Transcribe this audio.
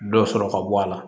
Dɔ sɔrɔ ka bɔ a la